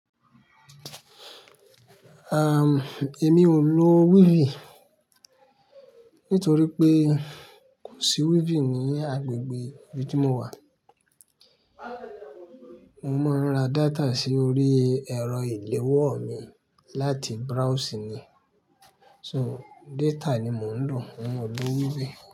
Èmi ò lò wíìfì nítorí pé kò sí wíìfì ní agbègbè ibi tí mo wà. Mo máa ń ra data sí orí ẹ̀rọ ìléwọ́ mi láti browse ni. So data ni mò ń lò, mò ò lo wíìfì.